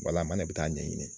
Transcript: Wala an ne bɛ taa a ɲɛɲini.